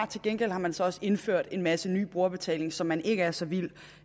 til gengæld har man så også indført en masse ny brugerbetaling som man ikke er så vild